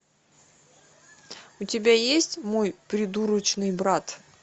у тебя есть мой придурочный брат